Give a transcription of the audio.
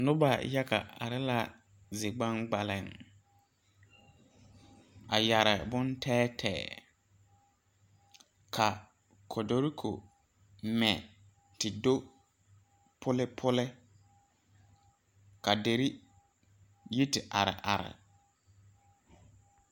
Nobɔ yaga are la zigbaŋgbaliŋ a yɛre bon tɛɛtɛɛ ka kotoreko mɛ te do pulepule ka derre yi te are are.